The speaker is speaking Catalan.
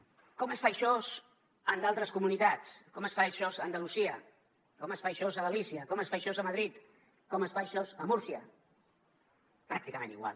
com es fa això en d’altres comunitats com es fa això a andalusia com es fa això a galícia com es fa això a madrid com es fa això a múrcia pràcticament igual